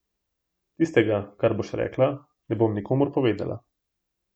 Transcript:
Tistega, kar boš rekla, ne bom nikomur povedala.